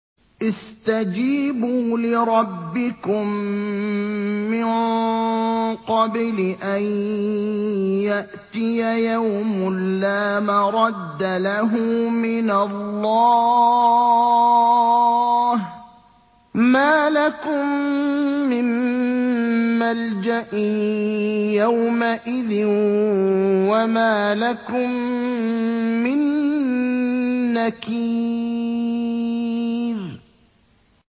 اسْتَجِيبُوا لِرَبِّكُم مِّن قَبْلِ أَن يَأْتِيَ يَوْمٌ لَّا مَرَدَّ لَهُ مِنَ اللَّهِ ۚ مَا لَكُم مِّن مَّلْجَإٍ يَوْمَئِذٍ وَمَا لَكُم مِّن نَّكِيرٍ